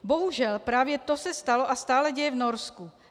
Bohužel právě to se stalo a stále děje v Norsku.